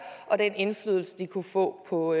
og den indflydelse de kunne få på